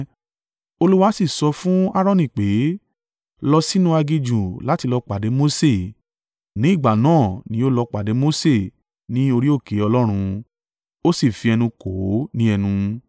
Olúwa sì sọ fún Aaroni pé, “Lọ sínú aginjù láti lọ pàdé Mose.” Ní ìgbà náà ni ó lọ pàdé Mose ní orí òkè Ọlọ́run, ó sì fi ẹnu kò ó ní ẹnu.